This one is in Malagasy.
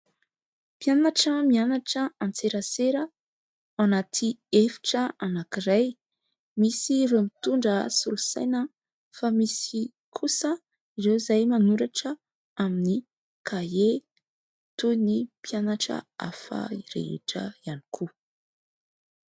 Mpianatra mianatra an-tserasera ao anaty efitra anankiray. Misy ireo mitondra solosaina fa misy kosa ireo izay manoratra amin'ny kahie toy ny mpianatra hafa rehetra ihany koa.